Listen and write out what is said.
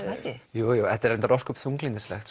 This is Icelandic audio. jújú þetta er reyndar ósköp